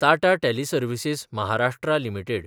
Tata teleservices (Maharashtra) limited